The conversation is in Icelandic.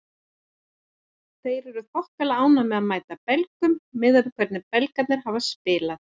Þeir eru þokkalega ánægðir með að mæta Belgum miðað við hvernig Belgarnir hafa spilað.